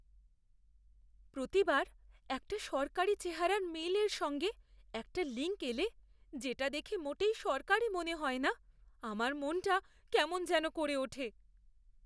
প্রতিবার একটা সরকারি চেহারার মেইলের সঙ্গে একটা লিঙ্ক এলে যেটা দেখে মোটেই সরকারি মনে হয় না, আমার মনটা কেমন যেন করে ওঠে!